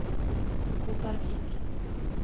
Kopervik